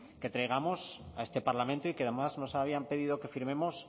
que traigamos a este parlamento y que además nos habían pedido que firmemos